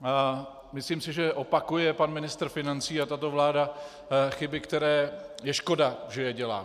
Myslím si, že opakuje pan ministr financí a tato vláda chyby, které je škoda, že je dělá.